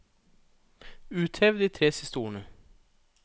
Uthev de tre siste ordene